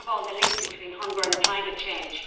First, the link between hunger and climate change.